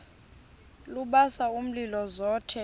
lubasa umlilo zothe